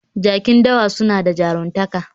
Jaki dawa suna da jaruntaka